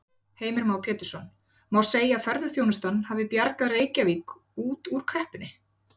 Heimir Már Pétursson: Má segja að ferðaþjónustan hafi bjargað Reykjavík út úr kreppunni?